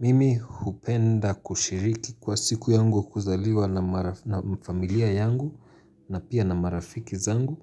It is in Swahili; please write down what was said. Mimi hupenda kushiriki kwa siku yangu kuzaliwa na familia yangu na pia na marafiki zangu